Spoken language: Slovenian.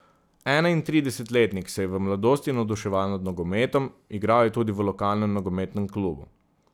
Enaintridesetletnik se je v mladosti navduševal nad nogometom, igral je tudi v lokalnem nogometnem klubu.